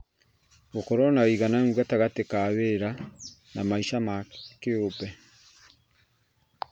Gũkorwo na wĩigananu gatagatĩ ka wĩra na maica ma kĩũmbe